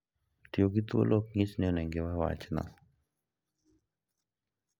Tiyo gi thuolo ok nyis ni onego iwe wachno